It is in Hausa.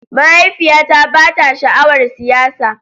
Mahaifiyata ba ta sha'awar siyasa